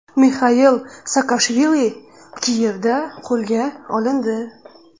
Mixail Saakashvili Kiyevda qo‘lga olindi.